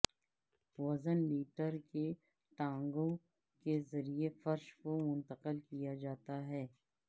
وزن لیٹر کے ٹانگوں کے ذریعے فرش کو منتقل کیا جاتا ہے